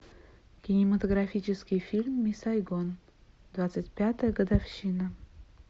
кинематографический фильм мисс сайгон двадцать пятая годовщина